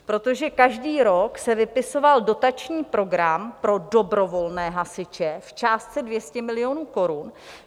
Protože každý rok se vypisoval dotační program pro dobrovolné hasiče v částce 200 milionů korun.